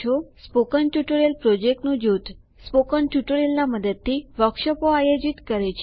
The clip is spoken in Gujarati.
સ્પોકન ટ્યુટોરિયલ પ્રોજેક્ટનું જૂથ સ્પોકન ટ્યુટોરિયલના મદદથી વર્કશોપો આયોજિત કરે છે